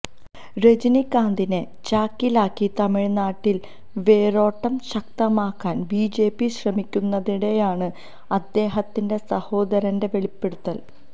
രജനികാന്തിനെ ചാക്കിലാക്കി തമിഴ്നാട്ടില് വേരോട്ടം ശക്തമാക്കാന് ബിജെപി ശ്രമിക്കുന്നതിനിടെയാണ് അദ്ദേഹത്തിന്റെ സഹോദരന്റെ വെളിപ്പെടുത്തല്